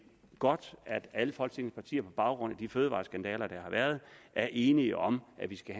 godt at alle folketingets partier på baggrund af de fødevareskandaler der har været er enige om at vi skal